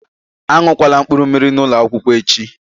A ṅụkwala mkpụrụmmiri n'ụlọ akwụkwọ echi!